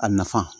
A nafa